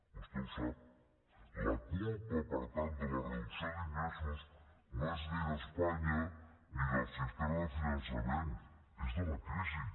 vostè ho sap la culpa per tant de la reducció d’ingressos no és ni d’espanya ni del sistema de finançament és de la crisi